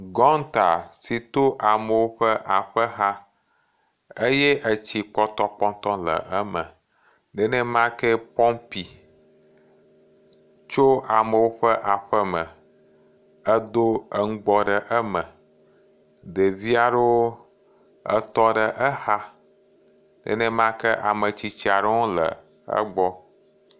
Gɔnta to amewo ƒe aƒe xa eye etsi pɔtɔpɔtɔwo le eme nenemakea nye pɔpi si to amewo ƒe aƒeme la do nugbɔ ɖe eme. Ɖevi aɖewo tɔ ɖe exa nenemake ametsitsi aɖewo hã le egbɔ.